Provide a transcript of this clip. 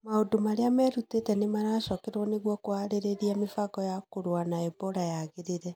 maũndũ marĩa merutĩte nĩ maracokerwo nĩguo kũharĩria mĩbango ya kũrũa na Ebola yagĩrĩre.